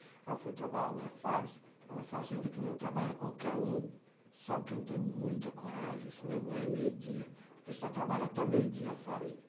Eu fui trabalhar na Firestone, uma fazenda que não trabalha qualquer um, só quem tem muita coragem, senão ganha meio-dia, porque só trabalha até meio-dia a Firestone.